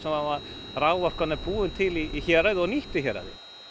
raforkan er búin til í héraði og nýtt í héraði